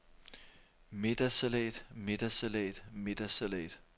middagssalat middagssalat middagssalat